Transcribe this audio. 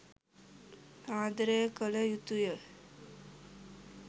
ආදරය කළ යුතුය.